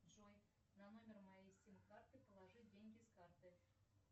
джой на номер моей сим карты положи деньги с карты